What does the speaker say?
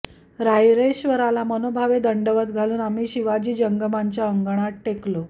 रायरेश्वराला मनोभावे दंडवत घालून आम्ही शिवाजी जंगमांच्या अंगणात टेकलो